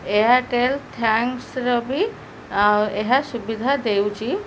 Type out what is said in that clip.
Airtel thanks ର ବି ଅଁ ଏହା ସୁବିଧା ଦେଉଛି।